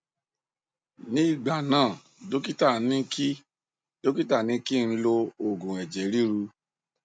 ní ìgbà náà dọkítà ní kí dọkítà ní kí n lo òògù ẹjẹ ríru